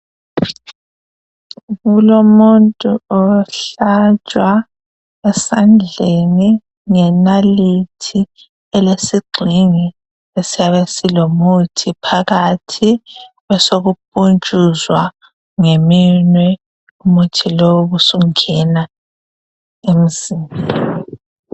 Kulomuntu ohlatshwa esandleni ngenalithi elesigxingi esiyabe silomuthi phakathi besokupuntshuzwa ngeminwe umuthi lowu ubusungena emzimbeni.